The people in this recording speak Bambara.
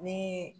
Ni